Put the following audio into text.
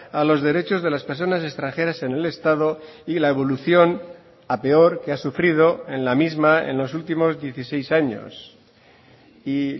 a los derechos de las personas extranjeras en el estado y la evolución a peor que ha sufrido en la misma en los últimos dieciséis años y